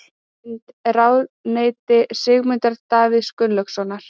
Mynd: Ráðuneyti Sigmundar Davíðs Gunnlaugssonar.